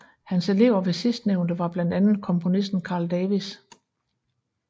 Hans elever ved sidstnævnte var blandt andet komponisten Carl Davis